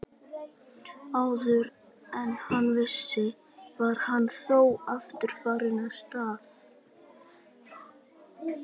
Áður en hann vissi var hann þó aftur farinn að stara.